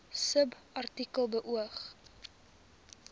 subartikel beoog